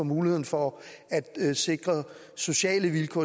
mulighederne for at sikre sociale vilkår